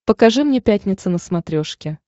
покажи мне пятница на смотрешке